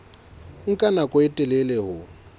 nka nako e telele ho